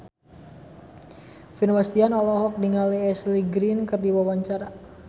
Vino Bastian olohok ningali Ashley Greene keur diwawancara